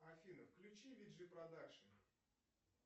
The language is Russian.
афина включи виджи продакшн